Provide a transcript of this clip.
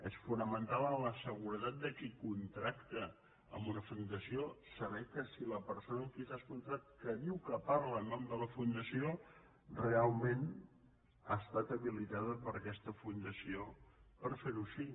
és fonamental en la seguretat de qui contracta amb una fundació saber que si la perso·na a qui s’ha contractat que diu que parla en nom de la fundació realment ha estat habilitada per aquesta fundació per fer·ho així